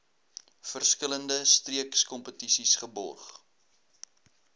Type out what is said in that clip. verskillende streekskompetisies geborg